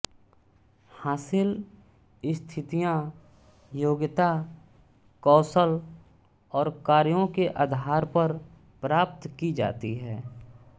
हासिल स्थितियां योग्यता कौशल और कार्यों के आधार पर प्राप्त की जाती हैं